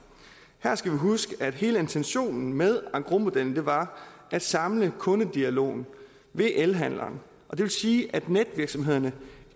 her skal vi huske at hele intentionen med engrosmodellen var at samle kundedialogen ved elhandleren og det vil sige at netvirksomhederne